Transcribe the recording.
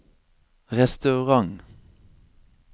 restaurant